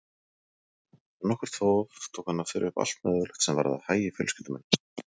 Eftir nokkurt þóf tók hann að þylja upp allt mögulegt sem varðaði hagi fjölskyldu minnar.